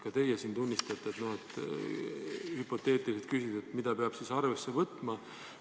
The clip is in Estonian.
Ka teie siin esitate hüpoteetilise küsimuse, et mida peab seejuures arvesse võtma.